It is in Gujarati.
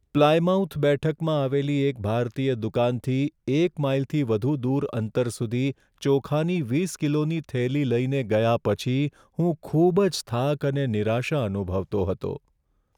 પ્લાયમાઉથ બેઠકમાં આવેલી એક ભારતીય દુકાનથી એક માઈલથી વધુ દૂર અંતર સુધી ચોખાની વીસ કિલોની થેલી લઈને ગયા પછી હું ખૂબ જ થાક અને નિરાશા અનુભવતો હતો.